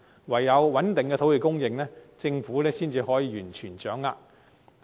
唯有穩定土地供應，政府才能完全掌握市況。